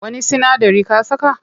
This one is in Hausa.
Wani sinadari ka saka?